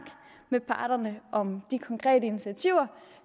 med parterne om de konkrete initiativer